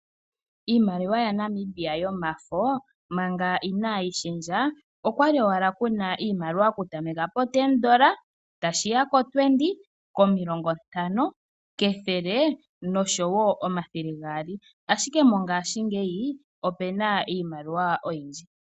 Iimaliwa yaNamibia yomafo manga inaayi shendja, okwali owala Kuna iimaliwa oku tameka poN$10, tashi ya koN$20, omilongo ntano, kethele nosho woo komathele gaali, ashike mongaashingeyi opena iimaliwa oyindji.